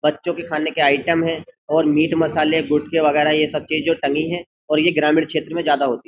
बच्चों के खाने के आइटम है और मीठ मसाले गुटके वगैरह ये सब चीज जो टंगी है और ये ग्रामीण क्षेत्र में ज्यादा होती है।